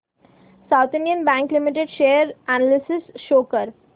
south Indian bank limited share analysis show कर